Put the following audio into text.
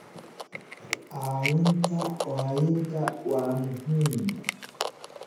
Caawinta waayeelka waa muhiim.